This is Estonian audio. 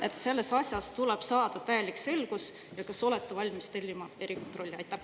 … et selles asjas tuleb saada täielik selgus, ja kas olete valmis tellima erikontrolli?